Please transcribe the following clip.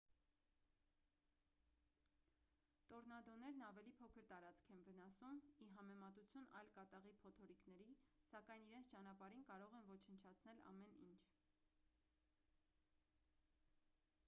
տորնադոներն ավելի փոքր տարածք են վնասում ի համեմատություն այլ կատաղի փոթորիկների սակայն իրենց ճանապարհին կարող են ոչնչացնել ամեն ինչ